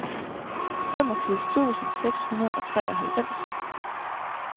femogfirs tusind seks hundrede og treoghalvfems